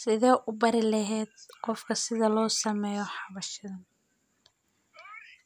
Sideed u bari lahayd qof sida loo sameeyo hawshan